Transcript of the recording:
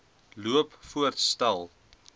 loop voorts stel